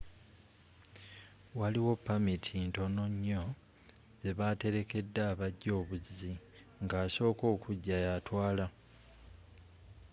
waliwo pamiti ntononnyo zebatelekedde abajja obuzi nga asooka okujja yatwaala